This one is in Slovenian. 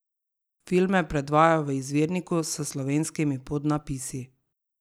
Filme predvajajo v izvirniku s slovenskimi podnapisi.